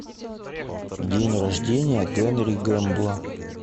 день рождения генри гэмбла